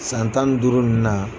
San tan ni duuru ninnu na